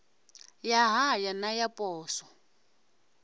ya haya na ya poswo